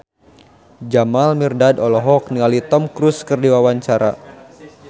Jamal Mirdad olohok ningali Tom Cruise keur diwawancara